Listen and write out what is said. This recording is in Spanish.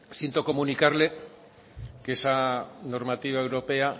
siento comunicarle que esa normativa europea